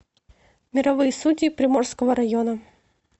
мировые судьи приморского района